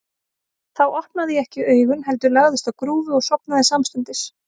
Þá opnaði ég ekki augun, heldur lagðist á grúfu og sofnaði samstundis.